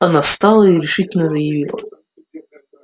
она встала и решительно заявила